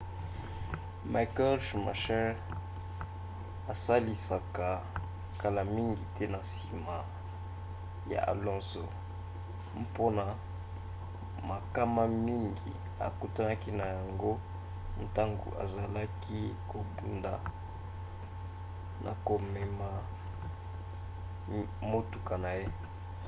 michael schumacher asalisaka kala mingi te na nsima ya alonso mpona makama mingi akutanaki na yango ntango azalaki kobunda na komema motuka na ye